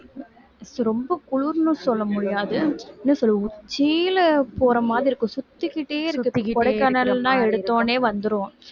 ரொம்ப குளிர்னு சொல்ல முடியாது என்ன சொல்றது உச்சியில போற மாதிரி இருக்கும் சுத்திக்கிட்டே கொடைக்கானல்தான் எடுத்தவுடனே வந்துரும்